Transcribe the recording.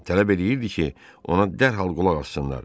Tələb eləyirdi ki, ona dərhal qulaq assınlar.